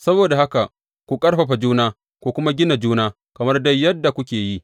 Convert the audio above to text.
Saboda haka ku ƙarfafa juna ku kuma gina juna, kamar dai yadda kuke yi.